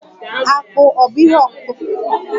Akpụ ọ̀ bụ ihe ọkụkụ mgbọrọgwụ?